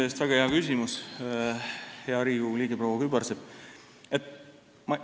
Tänan väga hea küsimuse eest, hea Riigikogu liige proua Kübarsepp!